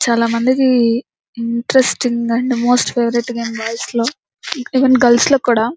చాల మందికి interesting and most favourite boys లో ఈవెన్ గర్ల్స్ లో కూడా.